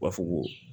U b'a fɔ ko